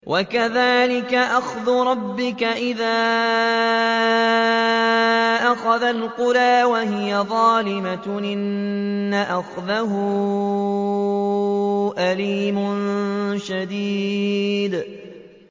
وَكَذَٰلِكَ أَخْذُ رَبِّكَ إِذَا أَخَذَ الْقُرَىٰ وَهِيَ ظَالِمَةٌ ۚ إِنَّ أَخْذَهُ أَلِيمٌ شَدِيدٌ